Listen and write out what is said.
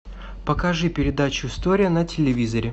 покажи передачу история на телевизоре